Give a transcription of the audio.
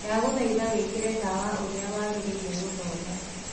Ndagũthaĩtha wĩkĩre tawa ũrĩa wagĩrĩĩre gũthoma